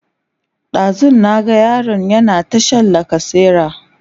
ɗazun na ga yaron yana ta Shan lacasera